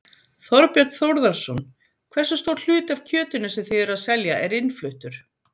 Þorbjörn Þórðarson: Hversu stór hluti af kjötinu sem þið eruð að selja er innfluttur?